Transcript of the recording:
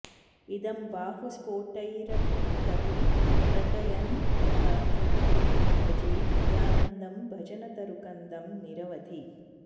इदं बाहुस्फोटैरटति रटयन् यः प्रतिगृहं भजे नित्यानन्दं भजनतरुकन्दं निरवधि